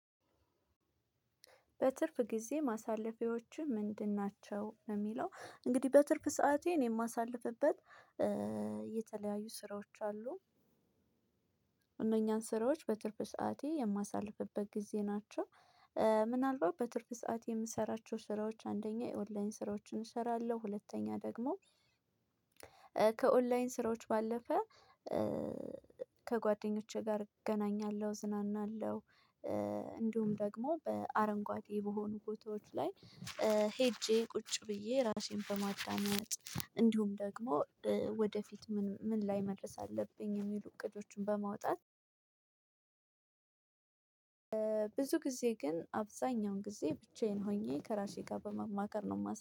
በትርፍ ጊዜ ማሳለፊያዎችህ ምንድን ናቸው? ለሚለው እንግዲህ በትርፍ ሰዓቴ እኔ ማሳልፍበት የተለያዩ ስራዎች አሉ እነኛን ስራዎች በትርፍ ሰዓቴ የማሳልፍበት ጊዜ ናቸው። ምናልባት በትርፍ ሰዓት የምሰራቸው ስራዎች አንደኛ የኦንላይን ስራዎችን እሰራለሁ። ሁለተኛ ደግሞ ከኦንላይን ስራዎች ባለፈ ከጓደኞቼ ጋር እገናኛለሁ እዝናናለሁ። እንድውም ደግሞ አረንጓዴ በሆኑ ቦታዎች ላይ ሄጄ ቁጭ ብዬ ራሴን በማዳመጥ እንዲሁም ደግሞ ወደፊት ምን ላይ መድረስ አለብኝ የሚሉ እቅዶችን በማውጣት። ብዙ ጊዜ ግን አብዛኛውን ጊዜ ብቻዬን ሆኜ ከራሴ ጋር በመማከር ነው ማሳ